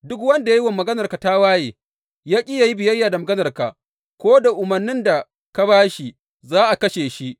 Duk wanda ya yi wa maganarka tawaye, ya ƙi yă yi biyayya da maganarka, ko da umarnin da ka ba shi, za a kashe shi.